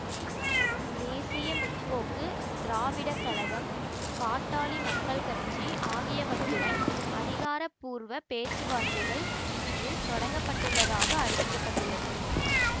தேசிய முற்போக்கு திராவிடக் கழகம் பாட்டாளி மக்கள் கட்சி ஆகியவற்றுடன் அதிகாரப்பூர்வ பேச்சுவார்த்தைகள் இன்று தொடங்கப்பட்டுள்ளதாக அறிவிக்க பட்டுள்ளது